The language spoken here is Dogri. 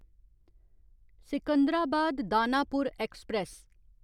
सिकंदराबाद दानापुर ऐक्सप्रैस